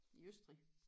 I Østrig